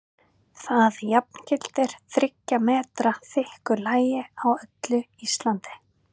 Það jafngildir þriggja metra þykku lagi á öllu Íslandi!